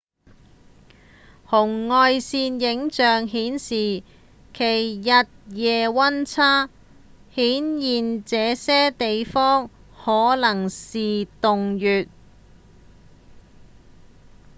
紅外線影像顯示其日夜溫差顯現這些地方可能是洞穴